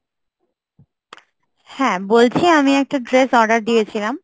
হ্যা, বলছি আমি একটা dress order দিয়েছিলাম